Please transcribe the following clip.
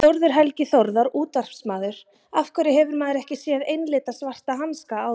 Þórður Helgi Þórðar útvarpsmaður Af hverju hefur maður ekki séð einlita svarta hanska áður?